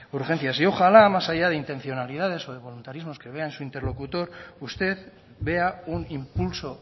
urgencias y ojalá más allá de intencionalidades o de voluntarismos que vea en su interlocutor usted vea un impulso